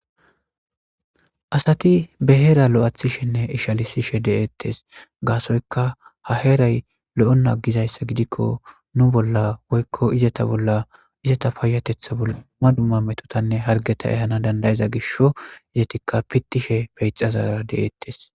asati be heera lo'athishenne ishalisishe de'eettes gaasoyka ha heeray lo'ona agizayssa gidikko nu bolla woykko izata bolla izata payatetha dumma dumma metotanne hargeta ehana dandayeza gisho izetikka pittishe peyxazara de'eettes